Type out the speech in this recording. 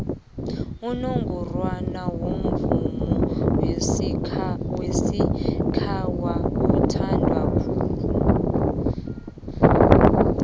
unongorwana womvomo wesikhawa uthandwa khulu